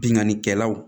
Bingannikɛlaw